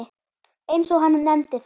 eins og hann nefndi það.